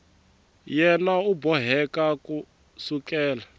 yena u boheka ku sukela